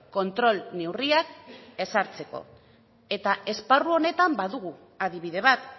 kontrol neurriak ezartzeko eta esparru honetan badugu adibide bat